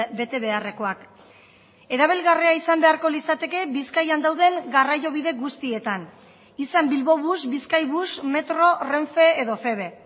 bete beharrekoak erabilgarria izan beharko litzateke bizkaian dauden garraio bide guztietan izan bilbobus bizkaibus metro renfe edo feve